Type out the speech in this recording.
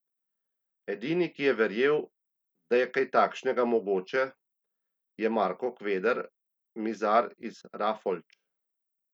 Edini, ki je verjel, da je kaj takšnega mogoče, je Marko Kveder, mizar iz Rafolč.